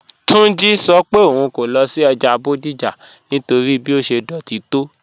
Túnjí́ sọ́ pé ọ̀un kò lọ sí ọ́jà Bodija nítorí bí ó ṣẹ̀ dọ́tí tó